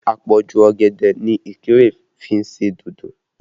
Àpọ̀jù ọ̀gẹ̀dẹ̀ ni Ikire fi ń ṣe dodo